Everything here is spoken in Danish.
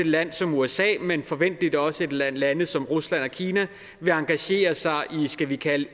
land som usa men forventeligt også lande lande som rusland og kina vil engagere sig i skal vi kalde det